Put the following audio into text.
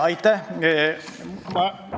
Aitäh!